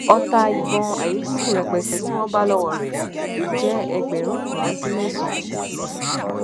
ọtá ìbọn ayíntúngún rẹpẹtẹ tí wọn bá lọwọ rẹ jẹ ẹgbẹrún kan dín mẹsànán